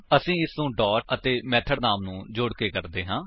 ਅਸੀ ਇਸਨੂੰ ਡਾਟ ਅਤੇ ਮੇਥਡ ਨਾਮ ਨੂੰ ਜੋੜਕੇ ਕਰਦੇ ਹਾਂ